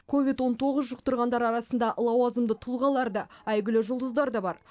ковид он тоғыз жұқтырғандар арасында лауазымды тұлғалар да әйгілі жұлдыздар да бар